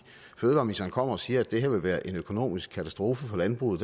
fødevareministeren kommer og siger at det her ville være en økonomisk katastrofe for landbruget